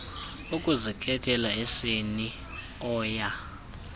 ukuzikhethela isini oya